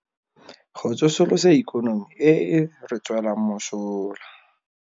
Go tsosolosa ikonomi e e re tswelang mosola.